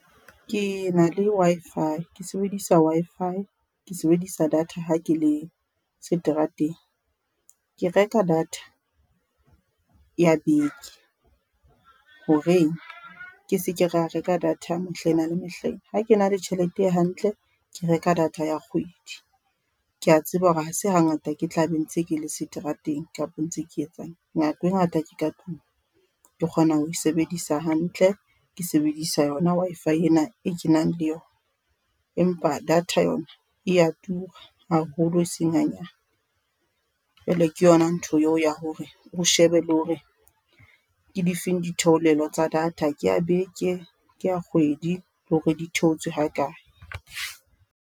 Ke na le Wi-Fi, ke sebedisa Wi-Fi. Ke sebedisa data ha ke le seterateng. Ke reka data, ya beke horeng ke seke ra reka data mehlaena le mehlaena. Ha ke na le tjhelete hantle, ke reka data ya kgwedi. Ke a tseba hore hase hangata ke tla be ntse kele seterateng kapa ntse ke etsang, nako e ngata ke ka tlung. Ke kgona ho e sebedisa hantle ke sebedisa yona Wi-Fi ena e kenang le yona. Empa data yona ea tura haholo e seng hanyane, jwale ke yona ntho eo ya hore ho shebe le hore ke difeng ditheolelo tsa data. Ke ya beke, ke ya kgwedi le hore di theotswe ha kae.